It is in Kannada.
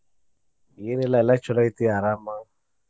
ಏನಿಲ್ಲಾ ಎಲ್ಲಾ ಚೊಲೋ ಐತಿ ಅರಾಮ.